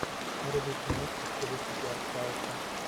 вруби киношку в стилистике артхауса